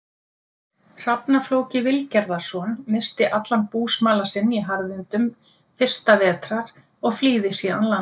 Hrafna-Flóki Vilgerðarson, missti allan búsmala sinn í harðindum fyrsta vetrar og flýði síðan land.